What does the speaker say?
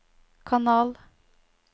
kanal